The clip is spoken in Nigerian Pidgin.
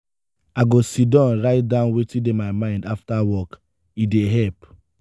i go sidon write down wetin dey my mind after work; e dey help.